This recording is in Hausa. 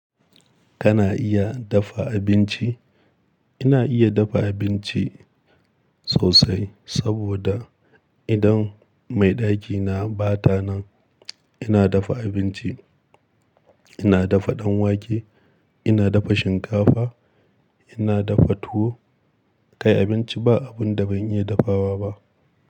Kana iya dafa abinci? Ina iya dafa abinci sosai, saboda idan mai ɗakina bata nan, ina dafa abinci. Ina dafa ɗan wake, ina dafa shinkafa, ina dafa tuwo, kai abinci ba abin da ban iya dafawa ba.